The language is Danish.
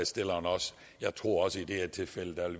jeg tror også i det her tilfælde